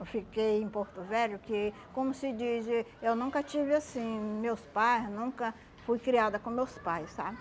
Eu fiquei em Porto Velho que, como se diz, eh eu nunca tive assim, meus pais, nunca fui criada com meus pais, sabe?